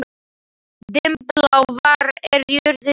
Dimmblá, hvað er jörðin stór?